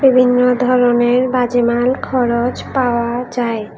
বিভিন্ন ধরণের বাজে মাল খরচ পাওয়া যায়।